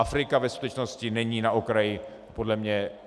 Afrika ve skutečnosti není na okraji podle mě.